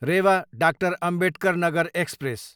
Rewa, doctor Ambedkar Nagar express